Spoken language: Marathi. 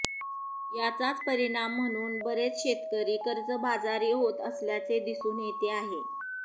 याचाच परिणाम म्हणून बरेच शेतकरी कर्जबाजारी होत असल्याचे दिसून येते आहे